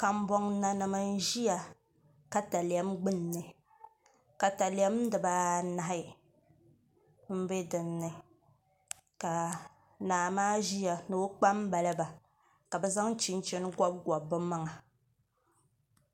Kambɔnnanima n-ʒiya takalɛm gbunni takalɛm diba anahi m-be din ni ka naa maa ʒiya ni o kpambaliba ka bɛ zaŋ chinchini gɔbigɔbi bɛ maŋa